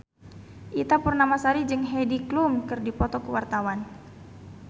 Ita Purnamasari jeung Heidi Klum keur dipoto ku wartawan